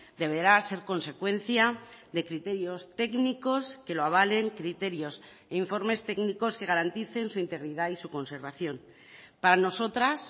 deberá ser consecuencia de criterios técnicos que lo avalen criterios e informes técnicos que garanticen su integridad y su conservación para nosotras